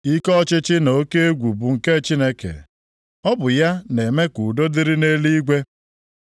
“Ike ọchịchị na oke egwu bụ nke Chineke; Ọ bụ ya na-eme ka udo dịrị nʼeluigwe.